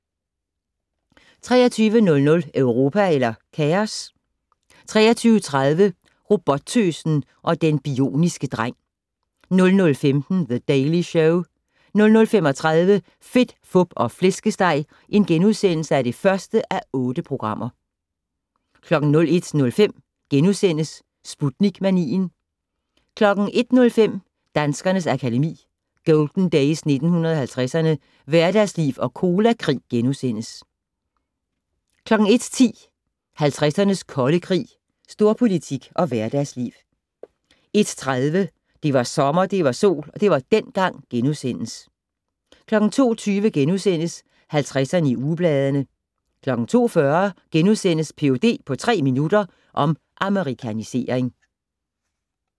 23:00: Europa eller kaos? 23:30: Robottøsen og den bioniske dreng 00:15: The Daily Show 00:35: Fedt, Fup og Flæskesteg (1:8)* 01:05: Sputnik-manien * 01:05: Danskernes Akademi: Golden Days 1950'erne - Hverdagsliv og Colakrig * 01:10: 50'ernes kolde krig - Storpolitik og hverdagsliv 01:30: Det var sommer, det var sol - det var dengang * 02:20: 50'erne i ugebladene * 02:40: Ph.d. på tre minutter - om amerikanisering *